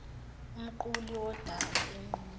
umquli wodaba enquma